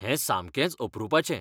हें सामकेंच अपरूपाचें!